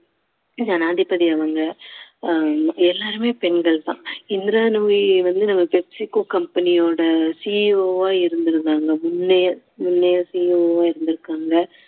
ஜனாதிபதி அவங்க அஹ் எல்லாருமே பெண்கள் தான் இந்திரா நூயி வந்து நம்ம pepsico company யோட CEO ஆ இருந்திருந்தாங்க முன்னையே முன்னையே CEO ஆ இருந்திருக்காங்க